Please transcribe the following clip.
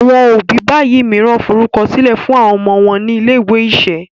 àwọn òbí bayii míràn forukọsilẹ fún àwọn ọmọ wón ní ilé-ìwé iṣẹ̀